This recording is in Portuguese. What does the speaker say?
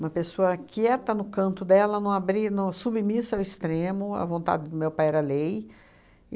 Uma pessoa quieta no canto dela, não abri não submissa ao extremo, a vontade do meu pai era lei.